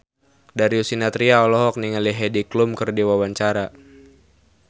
Darius Sinathrya olohok ningali Heidi Klum keur diwawancara